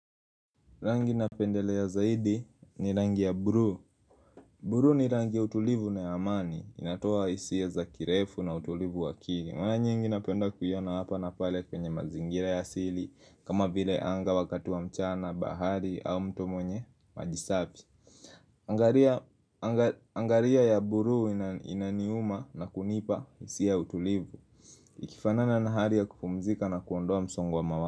Rangi napendelea zaidi ni rangi ya buru Buru ni rangi ya utulivu na amani, inatoa isi ya za kirefu na utulivu wakili mwana nyingi na penda kuyona hapa na pale kwenye mazingira ya sili kama vile anga wakatu wa mchana, bahari au mtomonye, majisabi Angaria ya buru inaniuma na kunipa isi ya utulivu Ikifanana na haria kukumzika na kuondoa msongo wa mawazo.